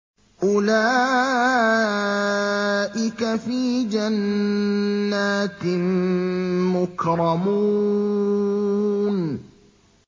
أُولَٰئِكَ فِي جَنَّاتٍ مُّكْرَمُونَ